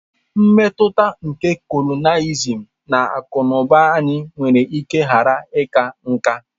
Mmetụta nke colonialism na akụ na ụba anyị nwere ike ghara ịka nká.